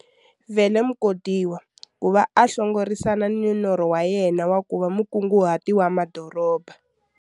Vele Mukhodiwa ku va a hlongorisana ni norho wa yena wa ku va mukunguhati wa madoroba.